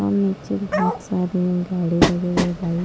और नीचे बहुत सारे गाड़ी लगे हुए बाइक --